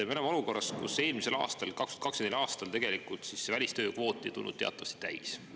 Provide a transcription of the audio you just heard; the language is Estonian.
Me oleme olukorras, kus eelmisel aastal, 2024. aastal välistööjõu kvoot ei tulnud teatavasti täis.